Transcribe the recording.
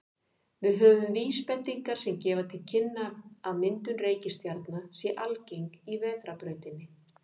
Við höfum vísbendingar sem gefa til kynna að myndun reikistjarna sé algeng í Vetrarbrautinni.